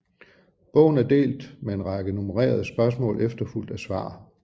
Bogen er delt med en række nummererede spørgsmål efterfulgt af svar